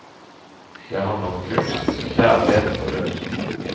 Den handler om kunst, kjærlighet og død.